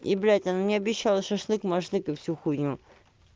и блядь она мне обещала шашлык-машлык и всю хуйню